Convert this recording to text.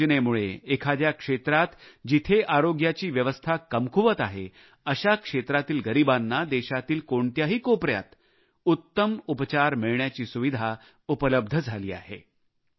या योजनेमुळे एखाद्या भागात जिथे आरोग्याची व्यवस्था कमकुवत आहे अशा भागातील गरीबांना देशातील कोणत्याही कोपऱ्यात उत्तम उपचार मिळण्याची सुविधा प्राप्त होते